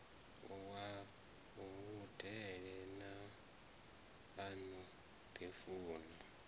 wa vhudele a no ḓifuna